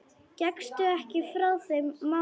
Gekkstu ekki frá þeim málum?